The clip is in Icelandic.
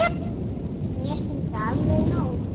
Mér finnst það alveg nóg.